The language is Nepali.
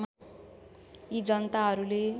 यी जनताहरूले